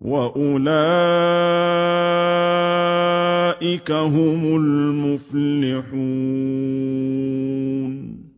وَأُولَٰئِكَ هُمُ الْمُفْلِحُونَ